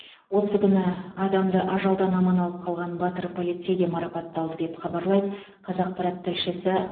осы күні адамды ажалдан аман алып қалған батыр полицей де марапатталды деп хабарлайды қазақпарат тілшісі